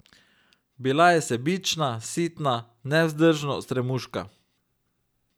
Bila je sebična, sitna, nevzdržno stremuška.